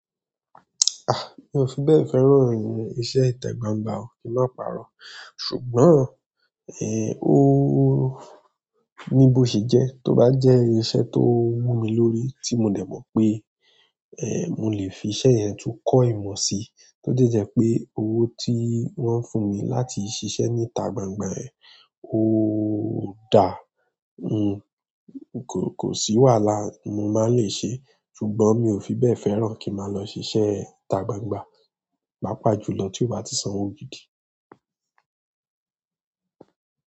Ah! Mi ò fi bẹ́ẹ̀ fẹ́ràn irin, iṣẹ́ ìtà gbangba o kí n máa pàrọ̀. Ṣùgbọ́n, ẹ́ òóó ní bó ṣe jẹ́, tó bá jẹ́ iṣẹ́ tó mú mi lórí, tí mo dẹ̀ mọ̀ pé ẹ́, mo lè fi iṣẹ́ yẹn tún kọ́ ìmọ̀ sí, tó jẹ́ jẹ́ pé owó tí wọ́n ń fún mi láti ṣiṣẹ́ ní ìtà gbangba ẹ, óò da, un kò sì wàhálà mo máa ń lè ṣe, ṣùgbọ́n mi ò fi bẹ́ẹ̀ fẹ́ràn kí máa lọ ṣiṣẹ́ ìtà gbangba. Pápá julọ tí ó bá ti san owó gidí.